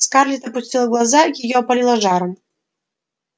скарлетт опустила глаза её опалило жаром